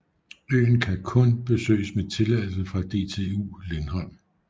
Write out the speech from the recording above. Øen kan kun besøges med tilladelse fra DTU Lindholm